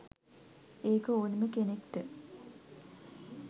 ඒක ඕනෙම කෙනෙක්ට